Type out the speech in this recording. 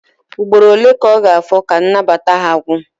Ugboro ole ka ọ ga-afọ ka nnabata ha gwụ?